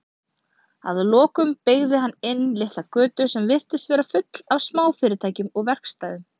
Að lokum beygði hann inn litla götu sem virtist vera full af smáfyrirtækjum og verkstæðum.